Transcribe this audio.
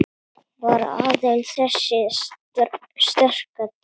Var aðeins þessi sterka trú